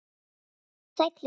Vertu sæll vinur.